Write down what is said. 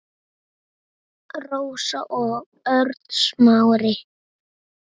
Rósa og Örn Smári.